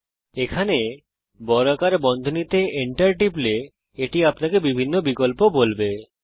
এখন আপনি যদি এখানে বর্গাকার বন্ধনী মধ্যে Enter টেপেন তাহলে এটা আপনাকে বিভিন্ন বিকল্প বলবে